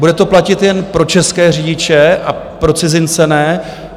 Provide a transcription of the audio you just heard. Bude to platit jen pro české řidiče a pro cizince ne?